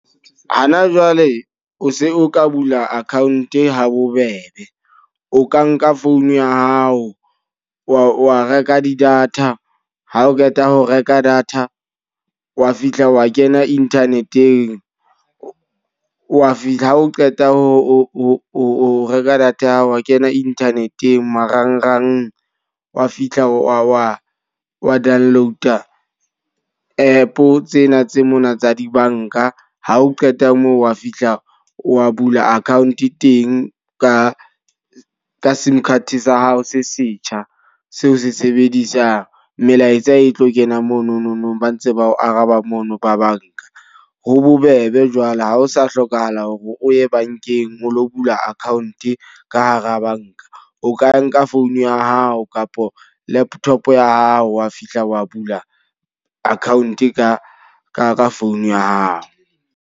Hana jwale o se o ka bula account ha bobebe. O ka nka phone ya hao, wa wa reka di-data. Ha o qeta ho reka data, wa fihla wa kena internet-eng. Wa fihla ha o qeta ho o reka data ya hao, wa kena internet-eng marangrang. Wa fihla wa wa wa download app tsena tse mona tsa dibanka. Ha o qeta moo wa fihla wa bula account teng ka ka sim card sa hao se setjhaba, seo se sebedisang. Melaetsa e tlo kena mono no nong ba ntse ba o araba mono ba banka. Ho bobebe jwale ha ho sa hlokahala hore o ye bankeng ho lo bula account ka hara banka. O ka nka phone ya hao kapa laptop ya hao wa fihla wa bula account ka phone ya hao.